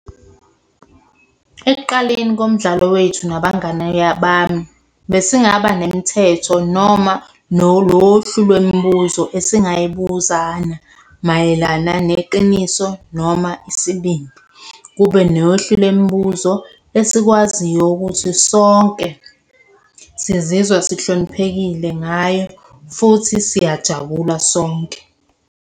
Ekuqaleni komdlalo wethu nabangani bami, besingaba nemithetho noma nolohlu lwemibuzo esingayibuzana mayelana neqiniso noma isibindi. Kube nohlu lwemibuzo esikwaziyo ukuthi sonke sizizwa sihloniphekile ngayo, futhi siyajabula sonke.